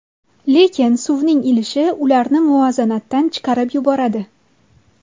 Lekin suvning ilishi ularni muvozanatdan chiqarib yuboradi.